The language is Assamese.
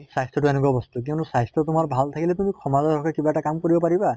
স্বাস্থ্য় টো এনেকুৱা বস্তু কিয়্নো স্বাস্থ্য় তোমা ভাল থাকিলে তুমি সমাজৰ হৈ কিবা এটা কাম কৰিব পাৰিবা